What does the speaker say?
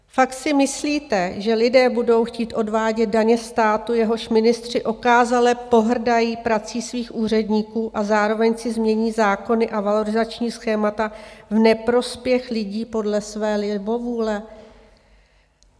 Fakt si myslíte, že lidé budou chtít odvádět daně státu, jehož ministři okázale pohrdají prací svých úředníků a zároveň si změní zákony a valorizační schémata v neprospěch lidí podle své libovůle?